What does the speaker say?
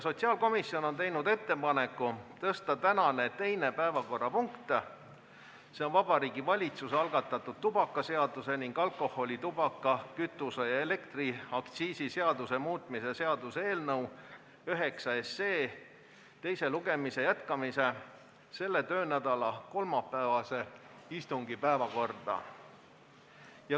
Sotsiaalkomisjon on teinud ettepaneku tõsta tänane teine päevakorrapunkt – see on Vabariigi Valitsuse algatatud tubakaseaduse ning alkoholi-, tubaka-, kütuse- ja elektriaktsiisi seaduse muutmise seaduse eelnõu 9 teise lugemise jätkamine – selle töönädala kolmapäevase istungi päevakorda.